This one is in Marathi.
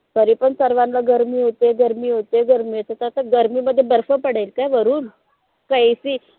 तरी पण सर्वांना गर्मी होते गर्मी होते गर्मी होते त आता गर्मीमध्ये बर्फ पडेल काय वरून? का AC